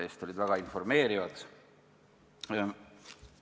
Need olid väga informeerivad!